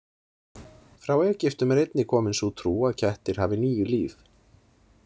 Frá Egyptum er einnig komin sú trú að kettir hafi níu líf.